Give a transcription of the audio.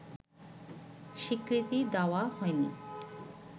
স্বীকৃতি দেওয়া হয়নি